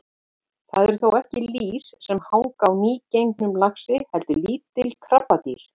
Það eru þó ekki lýs sem hanga á nýgengnum laxi heldur lítil krabbadýr.